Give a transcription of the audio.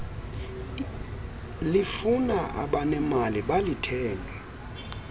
lifuna abanemali balithenge